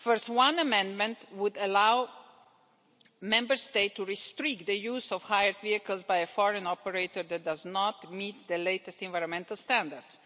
First, one amendment would allow a Member State to restrict the use of hired vehicles by a foreign operator that do not meet the latest environmental standards.